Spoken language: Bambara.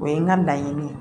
O ye n ka laɲini ye